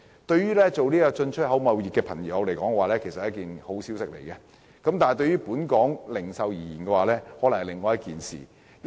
對於進出口貿易來說，這無疑是一個好消息，但對於本港零售業來說，卻是另一回事。